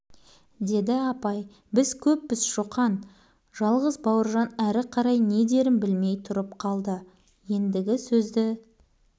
деді апай біз көппіз шоқан жалғыз бауыржан әрі қарай не дерін білмей тұрып қалды еңдігі сөзді